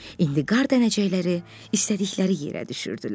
İndi qar dənəcikləri istədikləri yerə düşürdülər.